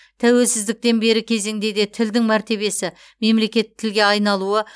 тәуелсіздіктен бергі кезеңде де тілдің мәртебесі мемлекеттік тілге айналуы